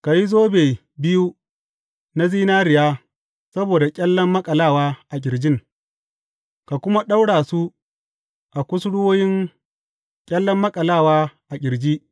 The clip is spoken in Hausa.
Ka yi zobe biyu na zinariya saboda ƙyallen maƙalawa a ƙirjin, ka kuma ɗaura su a kusurwoyin ƙyallen maƙalawa a ƙirji.